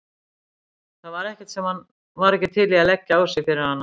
Það var ekkert sem hann var ekki til í að leggja á sig fyrir hana.